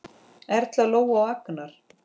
Erla, Lóa og Arnar.